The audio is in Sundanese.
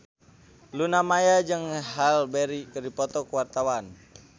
Luna Maya jeung Halle Berry keur dipoto ku wartawan